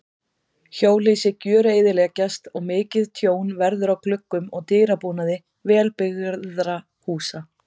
Hjólhýsi gjöreyðileggjast og mikið tjón verður á gluggum og dyrabúnaði vel byggðra húsa.